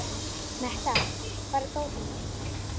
Metta, hvar er dótið mitt?